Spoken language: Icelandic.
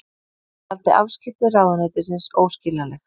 Taldi afskipti ráðuneytisins óskiljanleg